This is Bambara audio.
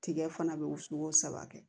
Tigɛ fana bɛ wusu ko saba kɛ